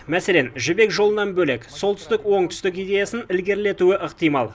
мәселен жібек жолынан бөлек солтүстік оңтүстік идеясын ілгерілетуі ықтимал